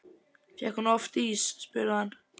Fékk hún oft ís? spurði hann.